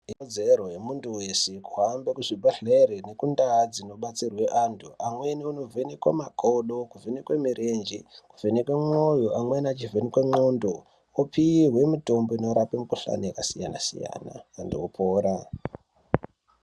Ikodzero yemuntu wese kuhambe muzvibhehlere nekundau dzinobatsirwe amweni anovhenekwe makodo kuvhenekwe murenje kuvhenekwe mwoyo amweni achivhenekwe nclondo opihwe mitombo inorape mikuhlani yakasiyana siyana endeopora